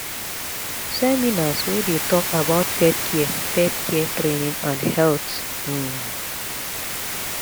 seminars wey dey talk about pet care pet care training and health um